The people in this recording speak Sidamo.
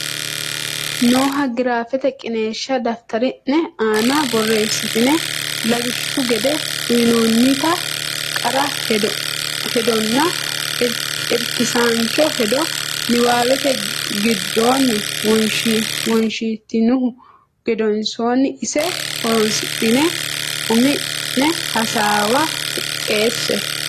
nooha giraafete qiniishsha daftari ne aana borreessitine lawishshu gede uynoonnita qara hedonna irkisaancho hedo niwaawete giddonni wonshitinihu gedensaanni ise horonsidhine umi ne hasaawa qixxeesse.